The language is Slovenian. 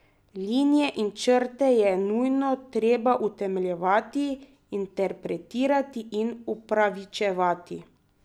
Linije in črte je nujno treba utemeljevati, interpretirati in upravičevati.